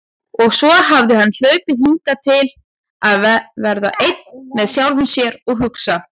Og svo hafði hann hlaupið hingað til að vera einn með sjálfum sér og hugsa.